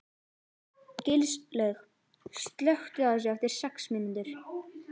Gilslaug, slökktu á þessu eftir sex mínútur.